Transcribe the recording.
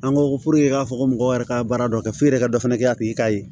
An ko i k'a fɔ ko mɔgɔ yɛrɛ ka baara dɔ kɛ f'i yɛrɛ ka dɔ fana kɛ a tigi ka